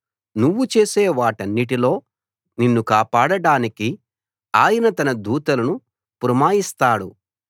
నువ్వు చేసే వాటన్నిటిలో నిన్ను కాపాడడానికి ఆయన తన దూతలను పురమాయిస్తాడు